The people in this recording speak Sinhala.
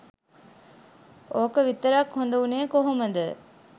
ඕක විතරක් හොද උනේ කොහොමද.?